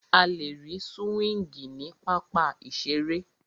A lè rí súwíngì ní pápá ìseré